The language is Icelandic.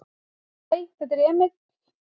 """Hæ, þetta er Emil."""